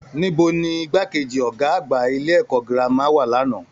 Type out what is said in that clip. Níbo ni igbákejì Ọgá àgbà ilé ẹ̀kọ́ gírámà wà l'ana?